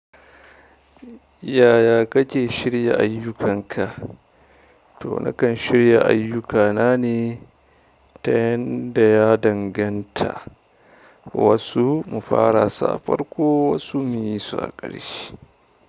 Yaya kake shirya ayyukanka? To nakan shirya ayyukana ne ta yanda ya danganta wasu mu fara su a farko wasu munfara su a ƙarshe.